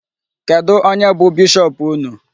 Kedụ onye bụ bishop unu?